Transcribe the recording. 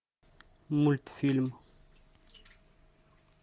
мультфильм